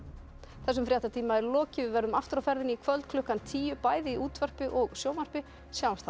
þessum fréttatíma er lokið við verðum aftur á ferðinni í kvöld klukkan tíu bæði í útvarpi og sjónvarpi sjáumst þá